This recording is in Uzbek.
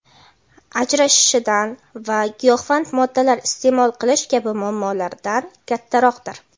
ajrashishidan va giyohvand moddalar iste’mol qilish kabi muammolaridan kattaroqdir.